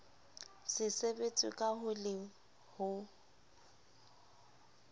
se sebetswe ka le ho